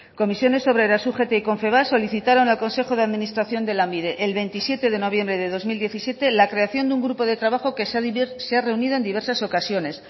comisiones obreras ugt y confebask solicitaron al consejo de administración de lanbide el veintisiete de noviembre de dos mil diecisiete la creación de un grupo de trabajo que se ha reunido en diversas ocasiones